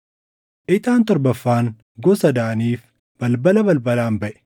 Ixaan torbaffaan gosa Daaniif balbala balbalaan baʼe.